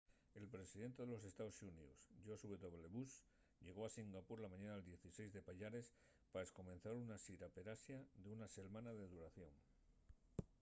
el presidente de los estaos xuníos george w. bush llegó a singapur la mañana del 16 de payares pa escomenzar una xira per asia d’una selmana de duración